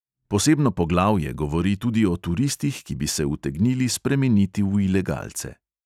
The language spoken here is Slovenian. Posebno poglavje govori tudi o turistih, ki bi se utegnili spremeniti v ilegalce.